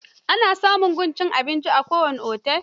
Ana samun wajen cin abinci a kowane otel.